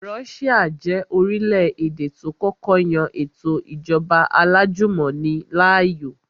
Russia jẹ́ orílẹ̀-èdè tó kọ́kọ́ yan ètò ìjọba alájùmọ̀ni láàyò